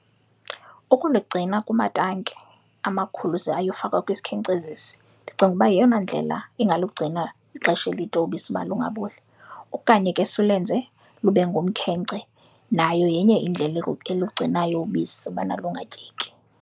Ukuligcina kumatanki amakhulu ze ayofakwa kwisikhencezisi, ndicinga uba yeyona ndlela ingalugcina ixesha elide ubisi uba lingaboli. Okanye ke silwenze lube ngumkhence, nayo yenye indlela elungcinayo ubisi ubana lungatyeki.